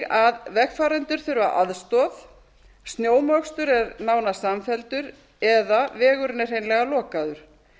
að vegfarendur þurfa aðstoð snjómokstur er nánast samfelldur eða vegurinn er hreinlega lokaður